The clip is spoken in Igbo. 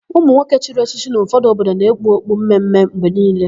Ụmụnwoke chiri echichi n'ụfọdụ obodo na-ekpu okpu mme mme mgbe niile.